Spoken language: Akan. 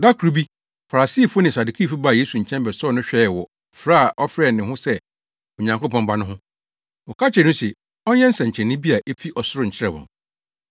Da koro bi, Farisifo ne Sadukifo baa Yesu nkyɛn bɛsɔɔ no hwɛɛ wɔ frɛ a ɔfrɛ ne ho sɛ Onyankopɔn Ba no ho. Wɔka kyerɛɛ no se ɔnyɛ nsɛnkyerɛnne bi a efi ɔsoro nkyerɛ wɔn.